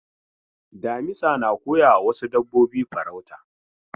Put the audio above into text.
Damisa na koyawa wasu dabbobi farauta.